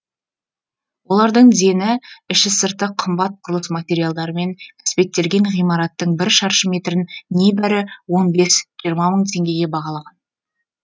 олардың дені іші сырты қымбат құрылыс материалдарымен әспеттелген ғимараттың бір шаршы метрін небәрі он бес жиырма мың теңгеге бағалаған